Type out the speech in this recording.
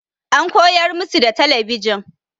An koyar musu da talabijin.